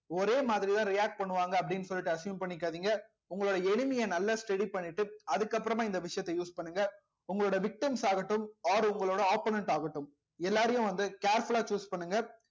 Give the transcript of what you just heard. ஒரே மாதிரிதான் react பண்ணுவாங்க அப்படின்னு சொல்லிட்டு assume பண்ணிக்காதீங்க உங்களோட enemy யை நல்லா study பண்ணிட்டு அதுக்கு அப்புறமா இந்த விஷயத்த use பண்ணுங்க உங்களோட victims ஆகட்டும் or உங்களோட opponent ஆகட்டும் எல்லாரையும் வந்து careful ஆ choose பண்ணுங்க